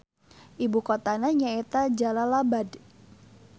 Ibu kotana nyaeta Jalalabad.